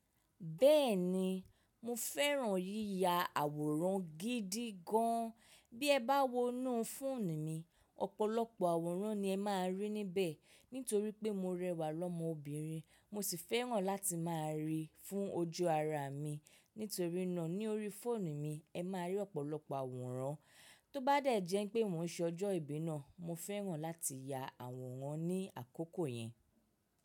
Bẹ́ẹ̀ni, mo fẹ́ràn yíya àwòrán gidi gan. Bí ẹ bá wo inú fóònù mi, ọ̀pọ̀lọpọ̀ àwòrán ni ẹ máa rí níbẹ̀. Nítorí pé mo rẹwà lọ́mọbìnrin, mo sì fẹ́ràn láti máa rí i fún ojú ara mi. Nítorí náà ní orí fóònù mi, ẹ máa rí ọ̀pọ̀lọpọ̀ àwòrán. Tó bá dẹ̀ jẹ́ pé mò ń ṣ'ọjọ́ ìbí náà, mo fẹ́ràn láti ya àwòrán ní àkókò yẹn.